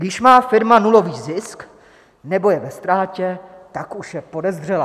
Když má firma nulový zisk nebo je ve ztrátě, tak už je podezřelá.